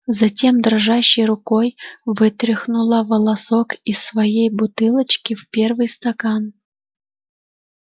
затем дрожащей рукой вытряхнула волосок из своей бутылочки в первый стакан